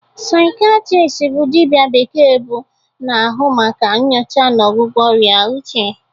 Saikiatristi bụ dibia bekee bụ na-ahụ maka nyocha na ọgwụgwọ ọrịa uche.